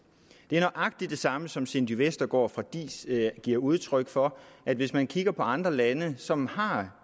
det er nøjagtig det samme som cindy vestergaard fra diis giver udtryk for at hvis man kigger på andre lande som har